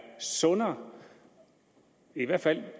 sundere og i hvert fald